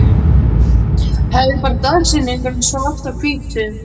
Hefði bara dagsetninguna svart á hvítu.